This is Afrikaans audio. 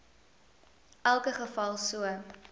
elke geval so